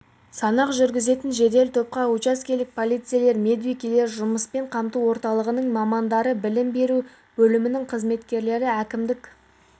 санақ жүргізетін жедел топқа учаскелік полицейлер медбикелер жұмыспен қамту орталығының мамандары білім беру бөлімінің қызметкерлері әкімдік